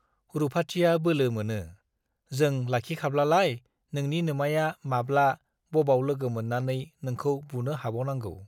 रुपाथिया बोलो मोनो , जों लाखिखाब्लालाय नोंनि नोमाया माब्ला, बबाव लोगो मोन्नानै नोंखौ बुनो हाबावनांगौ ?